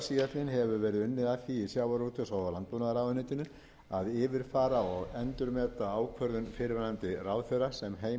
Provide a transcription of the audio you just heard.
því í sjávarútvegs og landbúnaðarráðuneytinu að yfirfara og endurmeta ákvörðun fyrrverandi ráðherra sem